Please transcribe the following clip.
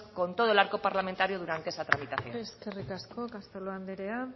con todo el arco parlamentario durante esa tramitación eskerrik asko castelo anderea